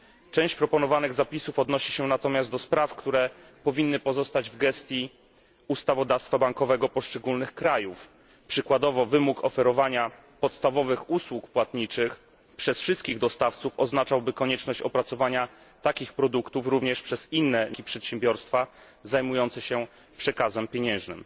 Część proponowanych zapisów odnosi się natomiast do spraw, które powinny pozostać w gestii ustawodawstwa bankowego poszczególnych krajów, przykładowo wymóg oferowania podstawowych usług płatniczych przez wszystkich dostawców oznaczałby konieczność opracowania takich produktów również przez przedsiębiorstwa, które nie są bankami, a zajmują się przekazami pieniężnymi.